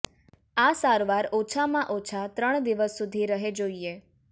આ સારવાર ઓછામાં ઓછા ત્રણ દિવસ સુધી રહે જોઇએ